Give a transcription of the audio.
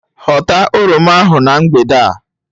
Hota oroma ahụ na mgbede a.